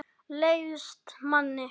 Leiðist manni?